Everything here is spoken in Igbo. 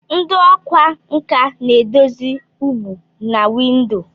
Ndị ọkwá nkà na-edozi ụgbụ na windo.